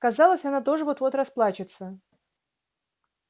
казалось она тоже вот-вот расплачется